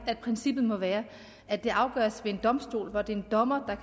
at princippet må være at det afgøres ved en domstol hvor det er en dommer